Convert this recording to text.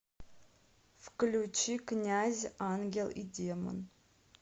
включи князь ангел и демон